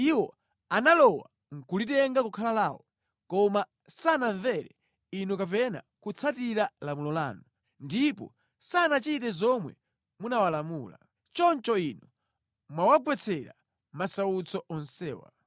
Iwo analowa nʼkulitenga kukhala lawo, koma sanamvere Inu kapena kutsatira lamulo lanu; ndipo sanachite zomwe munawalamula. Choncho inu mwawagwetsera masautso onsewa.”